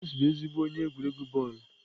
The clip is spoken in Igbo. Ee, James bụ ezigbo onye egwuregwu bọọlụ.